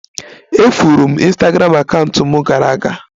E furu m ịnstagramụ akaụntụ m gara aga